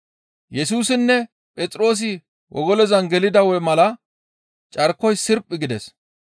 Yesusinne Phexroosi wogolozan gelida mala carkoy sirphi gides.